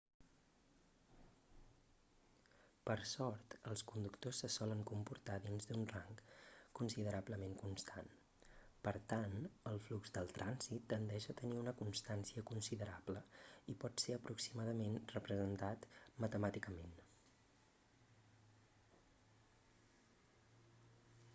per sort els conductors se solen comportar dins un rang considerablement constant per tant el flux del trànsit tendeix a tenir una constància considerable i pot ser aproximadament representat matemàticament